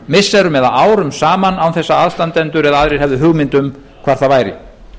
missirum eða árum saman án þess að aðstandendur eða aðrir hefðu hugmynd um hvar það væri